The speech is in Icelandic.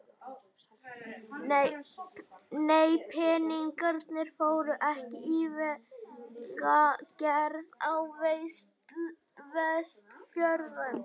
Nei, peningarnir fóru ekki í vegagerð á Vestfjörðum.